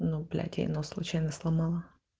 блять ей нос случайно сломала